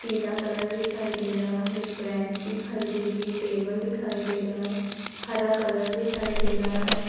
पीला कलर दिखाई दे रहा है ब्रेंच दिखाई दे रहै हैं टेबल दिखाई दे रहा है हरा कलर दिखाई दे रहा है।